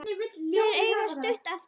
Þeir eiga stutt eftir heim.